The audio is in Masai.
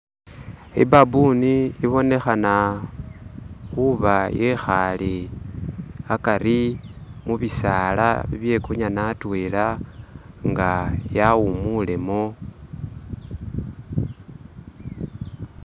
I'baboon ibonekhana khuuba yekhaale akari mubisaala ebye'kunyana atwela nga yawuumulemo